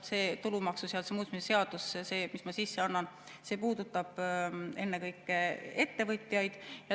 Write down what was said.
See tulumaksuseaduse muutmise seaduse, mille ma sisse annan, puudutab ennekõike ettevõtjaid.